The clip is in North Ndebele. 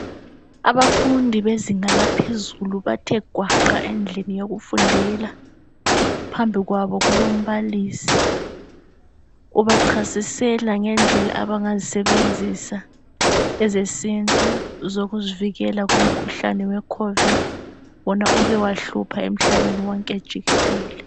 abafundi bezinga laphezulu bathe gwaqa endlini yokufundela phambi kwabo kulombalisi obachasisela ngendlela abangazisebenzisa ezesintu zokuzivikela kumkhuhlane we COVID wona oke wahlupha emhlabeni wonke jikelele